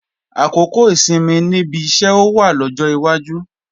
Àkókò ìsinmi níbi iṣẹ́ ó wá lọ́jọ́ iwájú